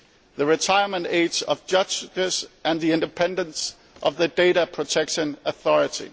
the retirement age of judges, and the independence of the data protection authority.